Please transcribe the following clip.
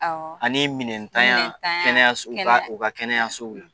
Ani minɛntanya kɛnɛ u ka kɛnɛyasow ye